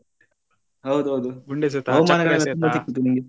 ಹೌದೌದು ಗುಂಡೆಸತ ಚಕ್ರೆಸೆತ.